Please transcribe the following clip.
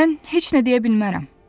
Mən heç nə deyə bilmərəm.